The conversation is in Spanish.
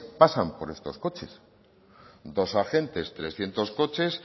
pasan por estos coches dos agentes trescientos coches